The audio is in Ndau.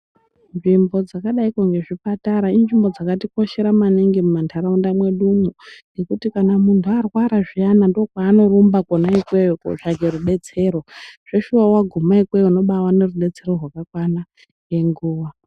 Nzvimbo dzakadaiko ngezvipatara inzvimbo dzakatikoshera maningi muma nharaunda mwedumwo. Ngekuti kana muntu arwara zviyana ndokwaanorumba kona ikweyo kotsvake rubetsero. Zveshuwa vangume ikweyo unobavane rubetero rakakana nenguva.